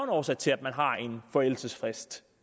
årsag til at man har en forældelsesfrist